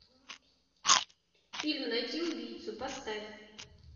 фильм найти убийцу поставь